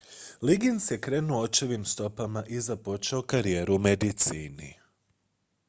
liggins je krenuo očevim stopama i započeo karijeru u medicini